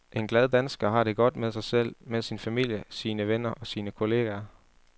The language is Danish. En glad dansker har det godt med sig selv, med sin familie, sine venner og sine kolleger.